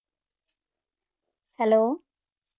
hello